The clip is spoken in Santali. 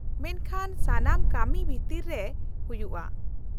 -ᱢᱮᱱᱠᱷᱟ ᱥᱟᱱᱟᱢ ᱠᱟᱹᱢᱤ ᱵᱷᱤᱛᱤᱨ ᱨᱮ ᱦᱩᱭᱩᱜᱼᱟ ᱾